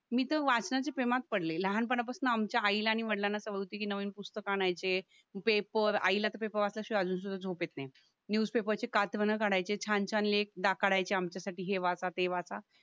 मी तर वाचनाच्या प्रेमात पडले लहानपणापासून आमच्या आईला आणि वडलांना सवय होती की नवीन पुस्तक आणायचे पेपर आईला तर पेपर वाचल्याशिवाय अजून सुद्धा झोप येत नाय न्यूजपेपर चे कात्रणं काढायचे छान छान लेख डा काढायचे आमच्यासाठी हे वाचा ते वाचा